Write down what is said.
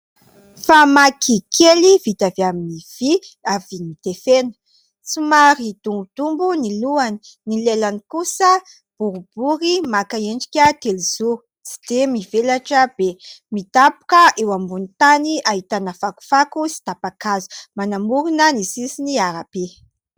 Famaky kely vita avy amin'ny vy avy notefena. Somary dombodombo ny lohany, ny lelany kosa boribory maka endrika telozoro tsy dia mivelatra be. Midaboka eo ambony tany ahitana fakofako sy tapa-kazo, manamorina ny sisin'ny arabe.